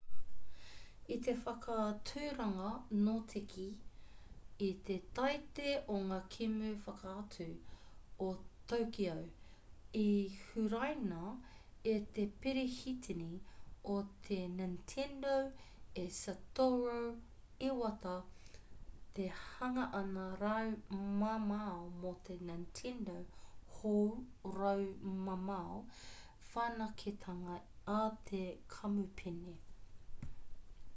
i te whakāturanga notekī i te taite o ngā kēmu whakātu o tokyo i huraina e te perehitini o te nintendo e satoru iwata te hanganga raumamao mō te nintendo hou raumamao whanaketanga a te kamupene